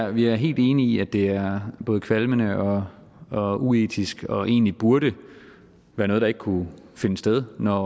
vi er helt enig i at det er både kvalmende og og uetisk og egentlig burde være noget der ikke kunne finde sted når